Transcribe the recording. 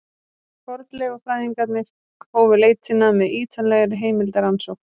Fornleifafræðingarnir hófu leitina með ýtarlegri heimildarannsókn.